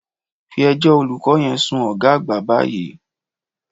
Fí ẹjọ́ olùkọ́ yẹn sun ọ̀gá àgbà báyìí